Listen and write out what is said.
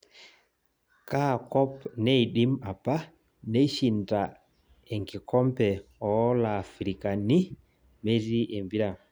Kaakop neidim apa neishinda enkikombe ooolafirikani metii empira